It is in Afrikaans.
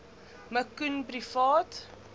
me koen privaat